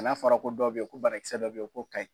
n'a fɔra ko dɔw bɛ ye ko banakisɛ dɔw bɛ ye k'o ka ɲi.